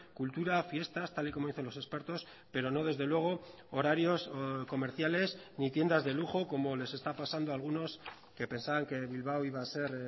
cultura fiestas tal y como dicen los expertos pero no desde luego horarios comerciales ni tiendas de lujo como les está pasando a algunos que pensaban que bilbao iba a ser